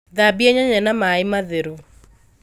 Thambia nyanya na maĩ matheru